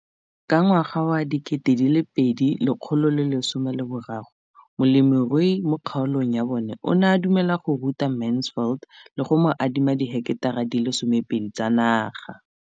Ka ngwaga wa 2013, molemirui mo kgaolong ya bona o ne a dumela go ruta Mansfield le go mo adima di heketara di le 12 tsa naga.